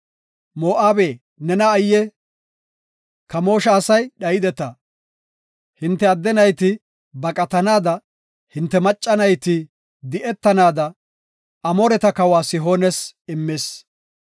Moo7abe, nena ayye! Kamoosha asay dhayideta. Hinte adde nayti baqatanaada, hinte macca nayti di7etanaada, Amooreta kawa Sihoones immis.